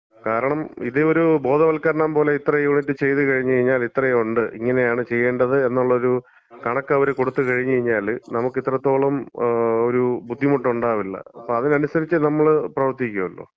കാരണം ഇതൊരു ബോധവൽക്കരണം പോലെ ഇത്രയും യൂണിറ്റ് ചെയ്ത് കഴിഞ്ഞ്കഴിഞ്ഞാല് ഇത്രേം ഉണ്ട്, ഇങ്ങനെയാണ് ചെയ്യേണ്ടത് എന്നുള്ളൊരു കണക്കവര് കൊടുത്ത് കഴിഞ്ഞ് കഴിഞ്ഞാല്, നമുക്ക് ഇത്രത്തോളം ഒരു, ബുദ്ധിമുട്ടുണ്ടാവില്ല. അപ്പം അതിനനുസരിച്ച് നമ്മള് പ്രവർത്തിക്കല്ലോ.